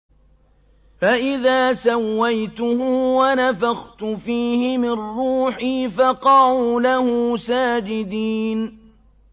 فَإِذَا سَوَّيْتُهُ وَنَفَخْتُ فِيهِ مِن رُّوحِي فَقَعُوا لَهُ سَاجِدِينَ